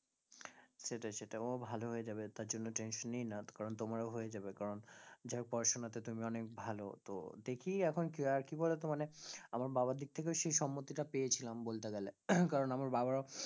সেটাই সেটাই ও ভালো হয়ে যাবে তার জন্য tension নিই না তা কারণ তোমারও হয়ে যাবে, কারণ যা হোক পড়াশোনা তে তুমি অনেক ভালো, তো দেখি এখন কি হয় আর কি বলতো মানে আমার বাবার দিক থেকেও সেই সম্মতি টা পেয়েছিলাম বলতে গেলে কারণ আমার বাবার ও